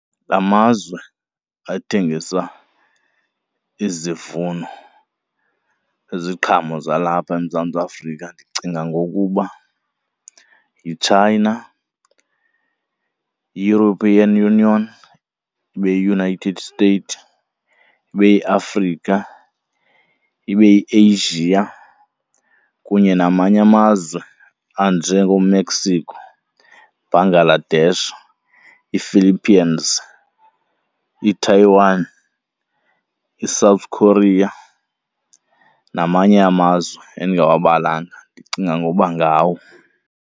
Amazwe athengisa izivuno, iziqhamo zalapha eMzantsi Afrika ndicinga ngokuba yiChina, European Union, ibeyi-United States, ibeyiAfrika, ibeyi-Asia kunye namanye amazwe anjengooMexico, Bangladesh, iiFiliphiyens, iTaiwan, iSouth Korea, namanye amazwe endingawabalanga ndicinga ngoba ngawo.